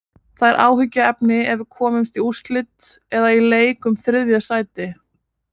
Það er áhyggjuefni ef við komumst í úrslit eða í leik um þriðja sætið.